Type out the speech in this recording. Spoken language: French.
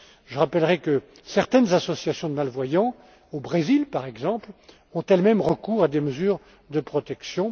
Je rappellerai que certaines associations de malvoyants, au Brésil, par exemple, ont elles mêmes recours à des mesures de protection.